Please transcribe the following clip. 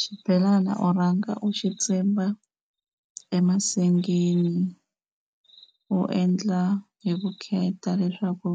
Xibelana u rhanga u xi tsimba emasengeni u endla hi vukheta leswaku